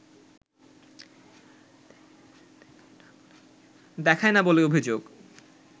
দেখায় না বলে অভিযোগ